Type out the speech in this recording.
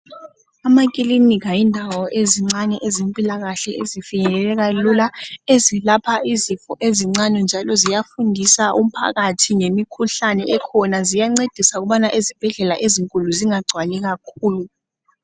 amakilinika yindawo ezincane ezempilakahle ezifinyeleleka lula ezilapha izifo ezincane njalo ziyafundisa umphakathi ngemikhuhlane ekhona ziyancedisa ukubana ezibhedlela ezinkulu zingagcwali kakhulu